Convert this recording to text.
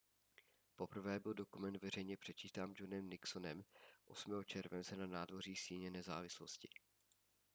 poprvé byl dokument veřejně předčítán johnem nixonem 8. července na nádvoří síně nezávislosti